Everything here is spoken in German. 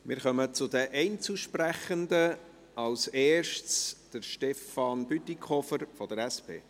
Wir kommen zu den Einzelsprechenden, zuerst zu Stefan Bütikofer, SP.